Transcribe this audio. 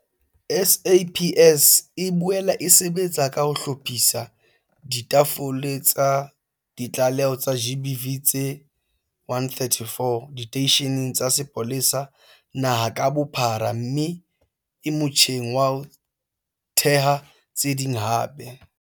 SAPS e boela e sebetsa ka ho hlophisa ditafole tsa ditlaleho tsa GBV tse 134 diteisheneng tsa sepolesa naha ka bophara mme e motjheng wa ho theha tse ding hape.